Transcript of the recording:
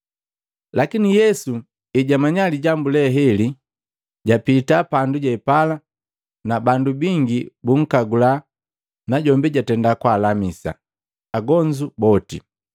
Lakini Yesu ejamanya lijambu lela, japita pandu je pala. Na bandu bingi bunkagula najombi jatenda kwaalamisa agonzu boti.